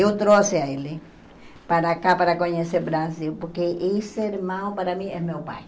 Eu trouxe ele para cá, para conhecer o Brasil, porque esse irmão, para mim, é meu pai.